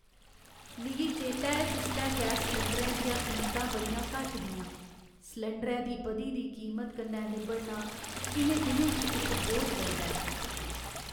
मिगी चेतै ऐ जिसलै गैस सलैंडरै दियां कीमतां बड़ियां घट्ट हियां। सलैंडरै दी बधी दी कीमता कन्नै निब्बड़ना इ'नें दिनें च इक बोझ लगदा ऐ।